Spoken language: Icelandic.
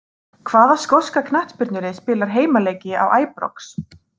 Hvaða skoska knattspyrnulið spilar heimaleiki á Æbrox?